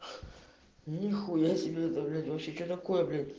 ни хуя себе это блять вообще что такое блять